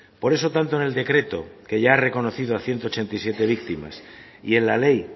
por eso tanto en el decreto que ya ha reconocido a ciento ochenta y siete víctimas y en la ley